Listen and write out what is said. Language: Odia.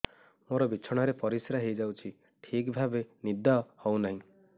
ମୋର ବିଛଣାରେ ପରିସ୍ରା ହେଇଯାଉଛି ଠିକ ଭାବେ ନିଦ ହଉ ନାହିଁ